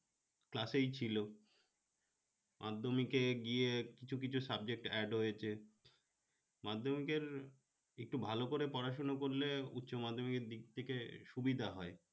class ছিল মাধ্যমিকে গিয়ে কিছু কিছু subject add হয়েছে মাধ্যমিকের একটু ভালো করে পড়াশোনা করলে উচ্চমাধ্যমিকের দিক থেকে সুবিধা হয়